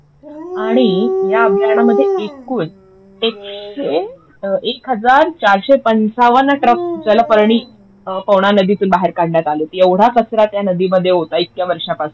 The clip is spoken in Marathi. आणि या अभियायनामध्ये एकूण एकशे एक हजार चारशे पंचावन्न ट्रक जलपर्णी पवना नदीतून बाहेर काढण्यात आली होती. एवढा कचरा त्या नदीमध्ये होता इतक्या वर्षांपासून